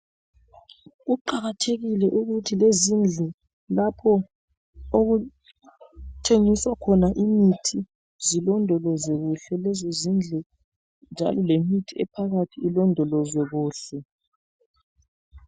Kuqakathekile ukuthi lezindlu lapho okuthengiswa khona imithi zilondolozwe kuhle lezi zindlu njalo lemithi ephakathi ilondolozwe kuhle.